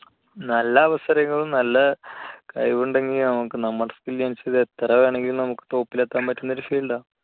നല്ല അവസരങ്ങളും നല്ല കഴിവുണ്ടെങ്കിൽ നമുക്ക് നമ്മുടെ എത്രവേണമെങ്കിലും നമുക്ക് top ൽ എത്താൻ പറ്റുന്ന ഒരു field ആണ്.